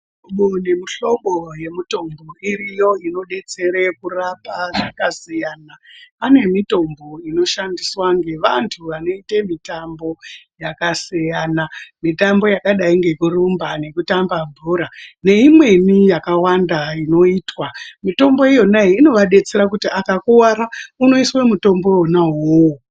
Muhlobo nemuhlobo yemutombo iriyo inodetsere kurapa zvakasiyana pane mitombo inoshandiswa ngevantu vanoite mitambo yakasiyana mitambo yakadai ngekurumba nekutamba bhora neimweni yakawanda inoitwa mitombo iyonayo inovadetsera kuti akakuwara unoiswe mutombo wona uwowo.